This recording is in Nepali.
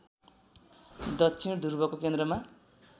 दक्षिण ध्रुवको केन्द्रमा